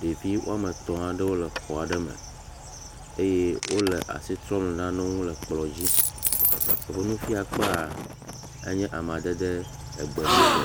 ɖevi woame etɔ̃ aɖewo le xɔ aɖe me eye wole asi trɔm le nanewo ŋu le ekplɔ dzi. Woƒe nufiakpea enye amadede egbe mu tɔ